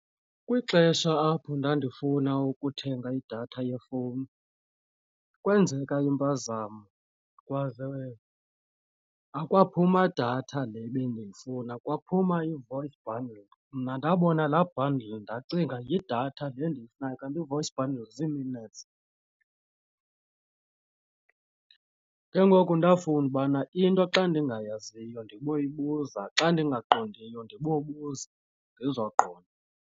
Kwixesha apho ndandifuna ukuthenga idatha yefowuni kwenzeka impazamo akwaphuma datha le bendiyifuna kwaphuma ii-voice bundles mna ndabona laa bundle ndacinga yidatha le ndiyifunayo kanti ii-voice bundles zii-minutes. Ke ngoku ndafunda ubana into xa ndingayaziyo ndiboyibuza xa ndingaqondiyo ndibobuza ndizoqonda.